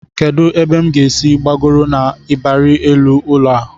Kedụ ebe m ga-esi gbagoro n'ịbarị elu ụlọ a?